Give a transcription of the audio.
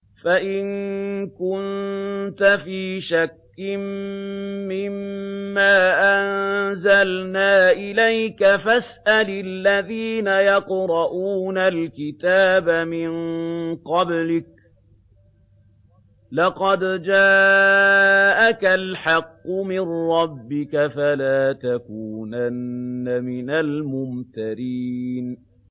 فَإِن كُنتَ فِي شَكٍّ مِّمَّا أَنزَلْنَا إِلَيْكَ فَاسْأَلِ الَّذِينَ يَقْرَءُونَ الْكِتَابَ مِن قَبْلِكَ ۚ لَقَدْ جَاءَكَ الْحَقُّ مِن رَّبِّكَ فَلَا تَكُونَنَّ مِنَ الْمُمْتَرِينَ